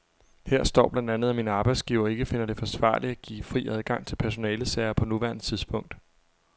Her står blandt andet, at min arbejdsgiver ikke finder det forsvarligt at give fri adgang til personalesager på nuværende tidspunkt.